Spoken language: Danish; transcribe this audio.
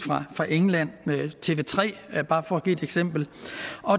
fra england på tv3 bare for at give et eksempel